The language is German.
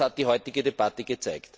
Das hat die heutige Debatte gezeigt.